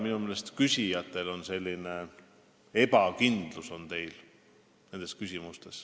Minu arust on küsijad nende küsimuste esitamisel sellised ebakindlad.